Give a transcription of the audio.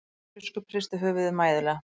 Sjálandsbiskup hristi höfuðið mæðulega.